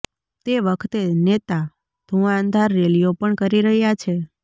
તે વખતે નેતા ધુઆંધાર રેલીઓ પણ કરી રહ્યા છે